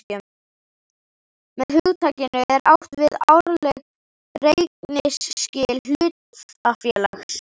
Með hugtakinu er átt við árleg reikningsskil hlutafélags.